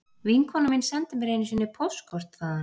Vinkona mín sendi mér einu sinni póstkort þaðan